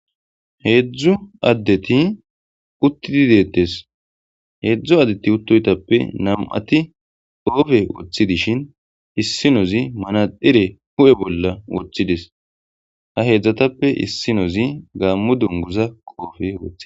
Heedzdzu addeti uttidi deettes. heedzdzu addeti uttoytappe nam7ati qoofe woththi dishin issinozi manaxxire hu7e bolla wothides ha heedzdzatappe issinozi gaammo dunguza qoofe wothi.